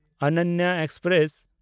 ᱚᱱᱚᱱᱱᱟ express